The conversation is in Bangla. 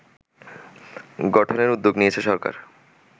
গঠনের উদ্যোগ নিয়েছে সরকার